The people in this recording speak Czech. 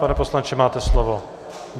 Pane poslanče, máte slovo.